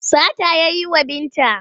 Sata ya yi wa Binta.